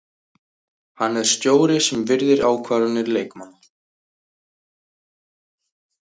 Hann er stjóri sem virðir ákvarðanir leikmanna.